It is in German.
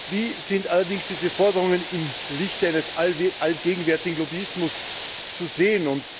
Wie sind allerdings diese Forderungen im Lichte eines allgegenwärtigen Lobbyismus zu sehen?